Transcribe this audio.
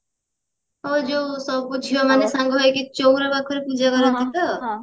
ଓ ଯୋଉ ସବୁ ଝିଅ ମାନେ ସାଙ୍ଗ ହେଇକି ଚଉରା ପାଖରେ ପୂଜା କରନ୍ତି ତ